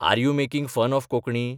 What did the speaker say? R you making fun of Konkani?